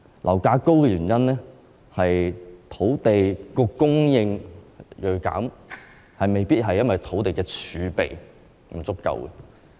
樓價高企的原因是土地供應銳減，不一定因為土地儲備不足。